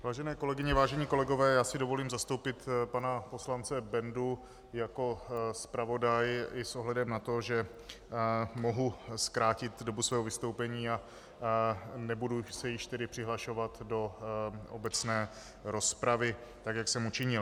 Vážené kolegyně, vážení kolegové, já si dovolím zastoupit pana poslance Bendu jako zpravodaj i s ohledem na to, že mohu zkrátit dobu svého vystoupení a nebudu se již tedy přihlašovat do obecné rozpravy tak, jak jsem učinil.